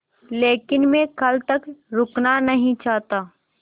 लेकिन मैं कल तक रुकना नहीं चाहता